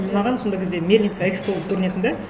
маған сондағы кезде мельница экспо болып көрінетін де